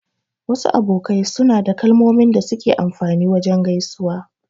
Wasu abokai suna da kalmomin da suke amfani wajen gaisuwa.